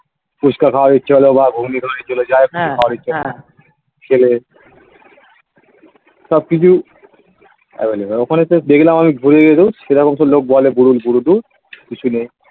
ফুচকা খাওয়ার ইচ্ছা হলো বা ঘুগনি খাওয়ার ইচ্ছা হলো যাই হোক কিছু খাওয়ার ইচ্ছা হলো খেলে সবকিছু available ওখানে শুধু দেখলাম আমি ঘুরে ধুর সেরকম লোক বলে . কিছু নেই